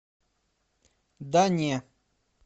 да не